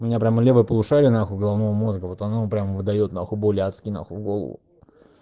у меня прямо левое полушарие нахуй головного мозга вот оно прям выдаёт нахуй боли адские нахуй в голову